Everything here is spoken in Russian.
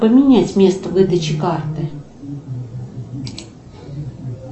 поменять место выдачи карты